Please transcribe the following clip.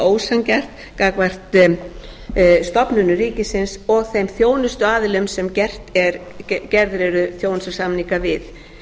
og það er líka ósanngjarnt gagnvart stofnunum ríkisins og þeim þjónustuaðilum sem gerðir eru þjónustusamninga við